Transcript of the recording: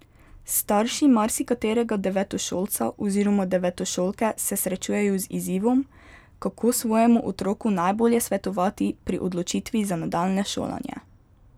Starši marsikaterega devetošolca oziroma devetošolke se srečujejo z izzivom, kako svojemu otroku najbolje svetovati pri odločitvi za nadaljnje šolanje.